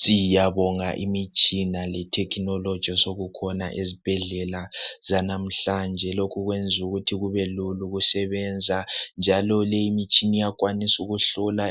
Siyabonga imitshina le technology osokukhona ezibhendlela zanamhlanje okwenza ukuthi kubelula ukusebenza njalo leyi imitshina iyakwanisa ukuhlola